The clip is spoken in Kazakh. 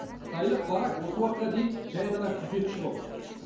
қытайлық барак осы уақытқа дейін жай ғана күзетші болыпты